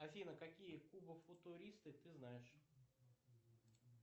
афина какие кубофутуристы ты знаешь